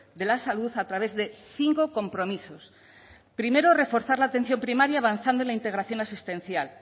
de la salud a través de cinco compromisos primero reforzar la atención primaria avanzando la integración asistencial